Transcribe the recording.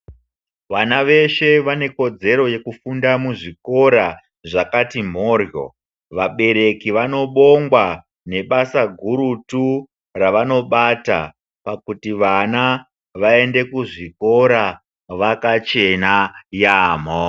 Vana veshe vanekodzero nekufunda muzvikora zvakati mborwo vabereki vanobongwa nebasa gurutu ravanobata pakuti vana vaende kuchikora vakachena yaambo.